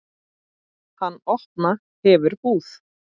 Hann opna hefur búð.